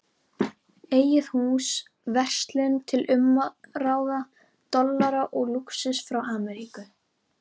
Eigið hús, verslun til umráða, dollara og lúxus frá Ameríku.